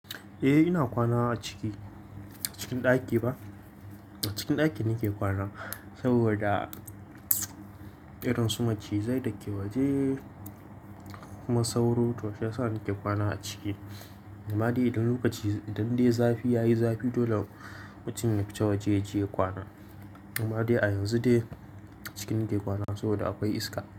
Eh ina kwana a ciki, cikin ɗaki ba. A cikin ɗaki nake kwana saboda irinsu macizai da ke waje kuma sauro to shiyasa nake kwana a ciki. Amma dai idan lokaci, idan dai zafi ya yi zafi dole mutum ya fice waje yaje ya kwana. Amma dai a yanzu dai ciki nake kwana saboda akwai iska.